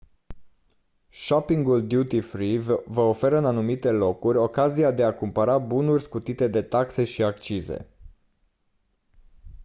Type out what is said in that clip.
shoppingul duty-free vă oferă în anumite locuri ocazia de a cumpăra bunuri scutite de taxe și accize